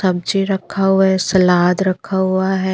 सब्जी रखा हुआ है सलाद रखा हुआ है।